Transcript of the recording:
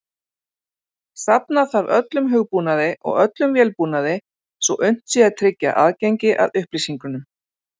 Safna þarf öllum hugbúnaði og öllum vélbúnaði svo unnt sé að tryggja aðgengi að upplýsingunum.